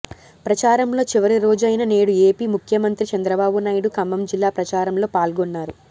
ప్రచారంలో చివరిరోజైన నేడు ఏపీ ముఖ్యమంత్రి చంద్రబాబు నాయుడు ఖమ్మం జిల్లా ప్రచారంలో పాల్గొన్నారు